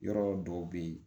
Yɔrɔ dɔw bɛ yen